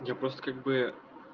я просто как бы